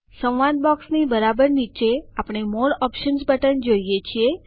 dialog બોક્સની બરાબર નીચે આપણે મોરે ઓપ્શન્સ બટન જોઈએ છીએ